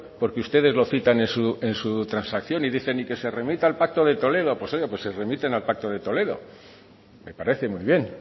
porque ustedes lo citan en su transacción y dicen se remita al pacto de toledo pues oiga se remiten al pacto de toledo me parece muy bien